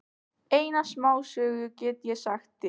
Eina smásögu get ég sagt þér.